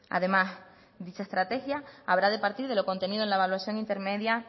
además dicha estrategia habrá de partir de lo contenido en la evaluación intermedia